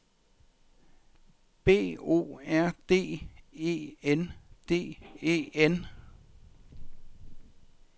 B O R D E N D E N